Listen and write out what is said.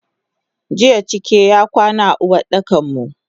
Jiya cike y akwana a Uwardakanmu.